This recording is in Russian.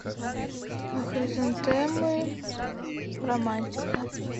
хризантемы романтика